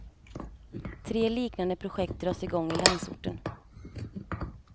Tre liknande projekt dras i gång i landsorten.